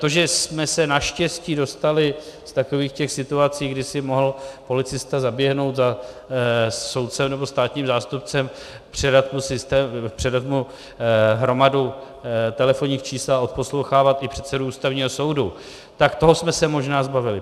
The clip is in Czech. To, že jsme se naštěstí dostali z takových těch situací, že si mohl policista zaběhnout za soudcem nebo státním zástupcem, předat mu hromadu telefonních čísel a odposlouchávat i předsedu Ústavního soudu, tak toho jsme se možná zbavili.